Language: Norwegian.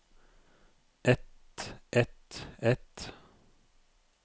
et et et